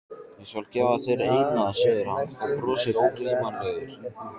Ég skal gefa þér eina, segir hann og brosir ógleymanlegur.